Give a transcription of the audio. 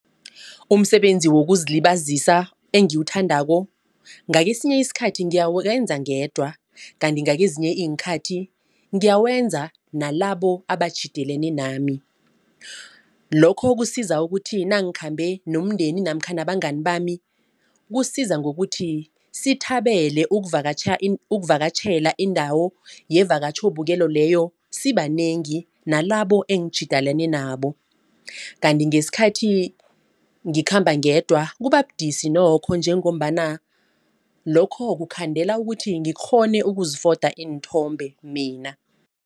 Umsebenzi wokuzilibazisa engiwuthandako ngakesinye isikhathi ngiyawenza ngedwa. Kanti ngezinye iinkhathi ngiyawenza nalabo abatjhidelane nami. Lokho kusiza ukuthi nangikhambe nomndeni namkha nabangani bami kusiza ngokuthi sithabele ukuvakatjhela indawo yevakatjhobukelo leyo sibanengi nalabo engitjhidelene nabo. Kanti ngesikhathi ngikhamba ngedwa kubabudisi nokho njengombana lokho kukhandela ukuthi ngikghone ukuzifoda iinthombe mina.